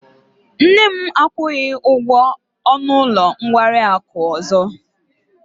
Nne m akwụghị ụgwọ ọnụ ụlọ nkwari akụ ọzọ.